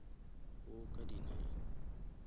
wo ka di nine